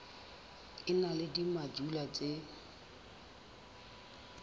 e na le dimojule tse